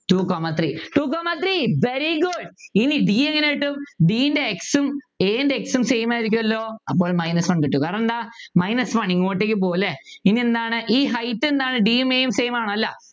two comma three two comma three very good ഇനി D എങ്ങനെ കിട്ടും D ൻ്റെ X ഉം A ന്റെ x ഉം Same ആയിരിക്കുമല്ലോ അപ്പൊ minus one കിട്ടും കാരണന്താ minus one ഇങ്ങോട്ടേക്ക് പോകും അല്ലെ ഇനി എന്താണ് ഈ height എന്താണ് D യും A യും same ആണോ അല്ല